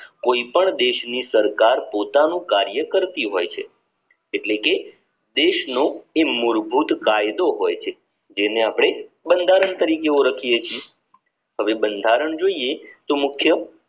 કોઈ પણ દેશ ની સરકાર પોતાના દેશ નું કાર્ય કરતી હોય છે એટલે કે દેશનો મૂળભૂત કાયદો હોય છે જેને અપને બંધારણ તરીકે ઓળખીયે છીએ હવે બંધારણ જોઈએ તો મુખ્ય